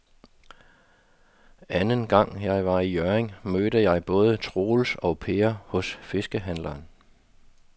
Anden gang jeg var i Hjørring, mødte jeg både Troels og Per hos fiskehandlerne.